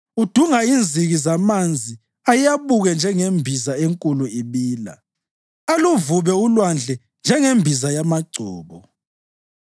Udunga inziki zamanzi ayabuke njengembiza enkulu ibila, aluvube ulwandle njengembiza yamagcobo.